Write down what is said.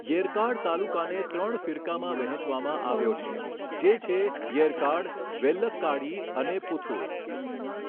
યેરકાડ તાલુકાને ત્રણ ફીરકામાં વહેંચવામાં આવ્યો છે, જે છે યેરકાડ, વેલ્લક્કાડી અને પુથુર.